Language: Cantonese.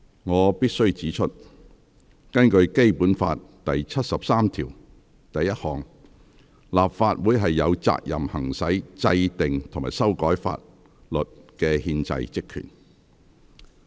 我必須指出，根據《基本法》第七十三條第一項，立法會有責任行使制定及修改法律的憲制職權。